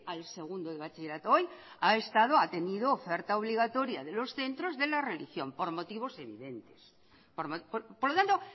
al segundo de bachillerato hoy ha estado ha tenido oferta obligatoria de los centros de la religión por motivos evidente por lo tanto